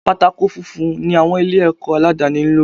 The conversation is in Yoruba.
Pátákó funfun ni àwọn ilé ẹ̀kọ́ aládàni ń lò.